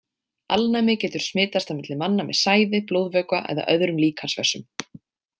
Alnæmi getur smitast á milli manna með sæði, blóðvökva eða öðrum líkamsvessum.